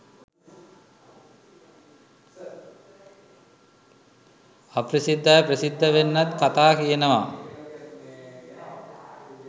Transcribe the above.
අප්‍රසිද්ධ අය ප්‍රසිද්ධ වෙන්නත් කතා කියනවා.